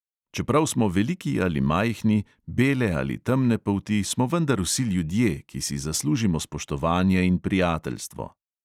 Čeprav smo veliki ali majhni, bele ali temne polti, smo vendar vsi ljudje, ki si zaslužimo spoštovanje in prijateljstvo.